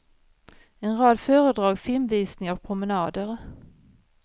En rad föredrag, filmvisningar och promenader.